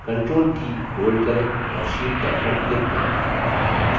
control की hold करें और sheet टैब पर click करें